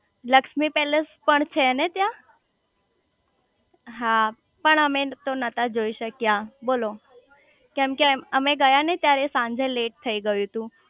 Lakshmi palace પણ છે ને ત્યાં હા પણ અમે તો નતા જોઈ શક્યા બોલો કેમ કે અમે ગયા ને ત્યારે સાંજે લેટ થઇ ગયું તું